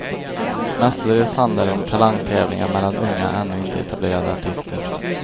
Mestadels handlar det om talangtävlingar mellan unga ännu inte etablerade artister.